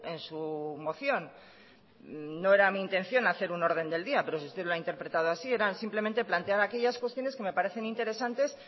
en su moción no era mi intención hacer un orden del día pero si usted lo ha interpretado así era simplemente plantear aquellas cuestiones que me parecen interesantes